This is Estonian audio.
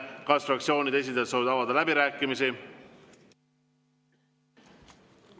Kas fraktsioonide esindajad soovivad avada läbirääkimisi?